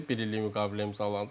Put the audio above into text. Bir illik müqavilə imzalandı.